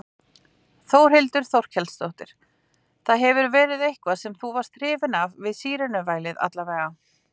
Þórhildur Þorkelsdóttir: Það hefur verið eitthvað sem þú varst hrifinn af við sírenuvælið alla vega?